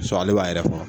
ale b'a yɛrɛ fɔ